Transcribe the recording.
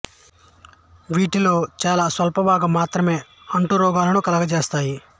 వీటిలో చాలా స్వల్ప భాగం మాత్రమే అంటు రోగాలను కలుగజేస్తాయి